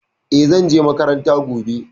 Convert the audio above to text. E, zan je makaranta gobe.